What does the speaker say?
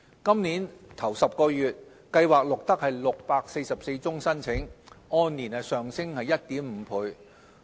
今年首10個月，計劃錄得644宗新申請，按年上升 1.5 倍。